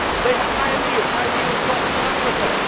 they have pioneered high yield crops in Africa